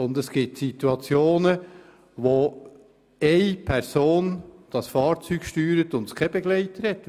Und es gibt Situationen, wo eine Person das Fahrzeug steuert und keine Begleitperson dabei ist.